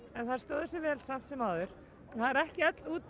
en þær stóðu sig vel samt sem áður það er ekki öll